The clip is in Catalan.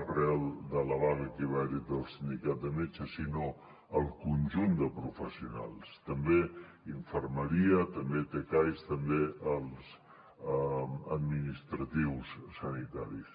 arran de la vaga que va haver hi del sindicat de metges sinó el conjunt de professionals també infermeria també tcais també els administratius sanitaris